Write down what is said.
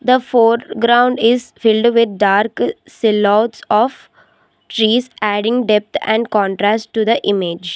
The foreground is filled with dark its a lots of trees adding depth and contrast to the image.